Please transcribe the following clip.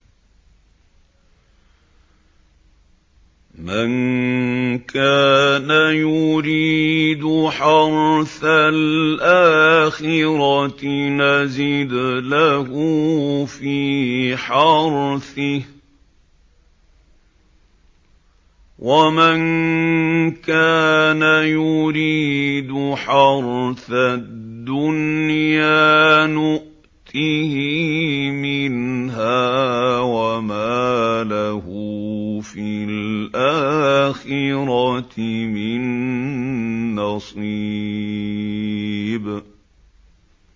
مَن كَانَ يُرِيدُ حَرْثَ الْآخِرَةِ نَزِدْ لَهُ فِي حَرْثِهِ ۖ وَمَن كَانَ يُرِيدُ حَرْثَ الدُّنْيَا نُؤْتِهِ مِنْهَا وَمَا لَهُ فِي الْآخِرَةِ مِن نَّصِيبٍ